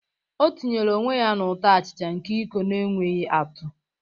O tinyere onwe ya na ụtọ achicha nke iko na-enweghị atụ.